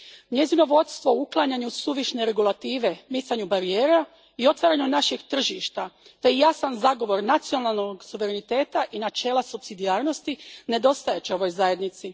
Njezino vodstvo u uklanjanju suvišne regulative, micanju barijera i otvaranju naših tržišta te jasan zagovor nacionalnog suvereniteta i načela supsidijarnosti nedostajat će ovoj Zajednici.